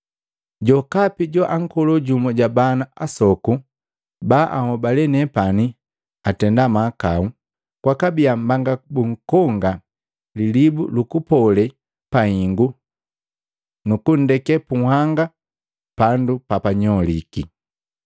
“Jokapi joankolo jumu ja bana asokopi baanhobale nepani atenda mahakau, kwakabia mbanga bunkonga lilibu lukupole pahingu nukundeke punhanga pandu papanyoliki. Bandu abeli apola kukutumi lilibu lukupole.